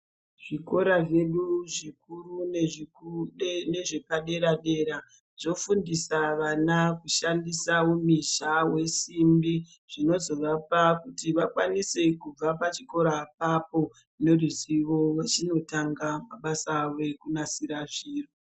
Zvikora zvedu zvikuru nezvepaderadera zvofundisa vana kushandisa umhizha we simbi , zvinozovapa kuti vakwanise kubva pachikora apapo neruzivo, vochinotangisa mabasa avo ekunasira zvinhu.